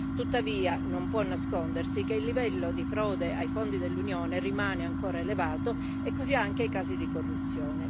Tuttavia, non si può nascondere che il livello di frode ai fondi dell'Unione rimane ancora elevato e così anche i casi di corruzione.